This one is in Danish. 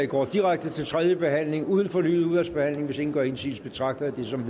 går direkte til tredje behandling uden fornyet udvalgsbehandling hvis ingen gør indsigelse betragter jeg det som